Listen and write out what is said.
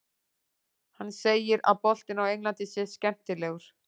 Hann segir að boltinn á Englandi sé skemmtilegur.